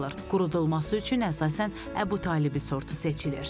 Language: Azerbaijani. Qurudulması üçün əsasən Əbutalibi sortu seçilir.